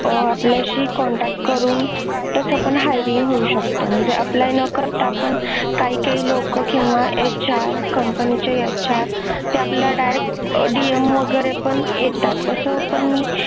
आह आपल्याशी contact करून तसं पण hiring होऊ शकत म्हणजे apply आपण काही काही लोकं किंवा HRCompany चे HR तो आपल्याला direct DM वगैरे पण येतात असं पण मी